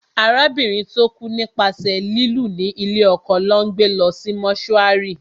Arábìnrin tó kú nípasẹ̀ lílù ní lé ọkọ lọ́ gbé lọ sí mọ́túárì